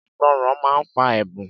Ìgbọràn máa ń fa ẹ̀bùn